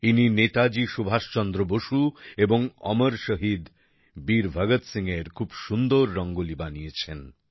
ইনি নেতাজি সুভাষচন্দ্র বসু এবং অমর শহীদ বীর ভগৎ সিংহের খুব সুন্দর রঙ্গোলি বানিয়েছেন